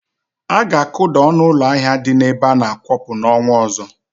Aga akuda ọnụ ụlọ ahịa dị n'ebe ana-akwọpụ n'ọnwa ọzọ.